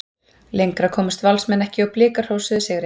Lengra komust Valsmenn ekki og Blikar hrósuðu sigri.